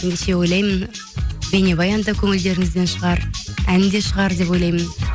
ендеше ойлаймын бейнебаян да көңілдеріңізден шығар ән де шығар деп ойлаймын